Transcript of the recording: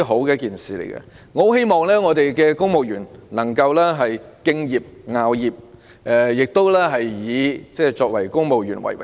我十分希望公務員能夠敬業樂業，並以身為公務員為榮。